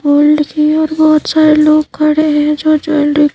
gold की और बहुत सारे लोग खड़े हैं जो--